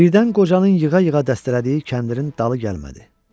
Birdən qocanın yığa-yığa dəstələdiyi kəndirin dalı gəlmədi.